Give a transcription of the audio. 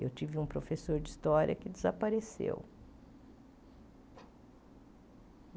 Eu tive um professor de história que desapareceu.